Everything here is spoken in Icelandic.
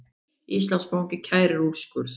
Íslandsbanki kærir úrskurð